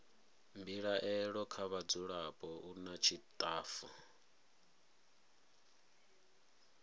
mbilaelo kha vhadzulapo nna tshitafu